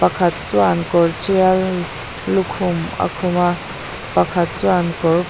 pakhat chuan kawr tial lukhum a khum a pakhat chuan kawr --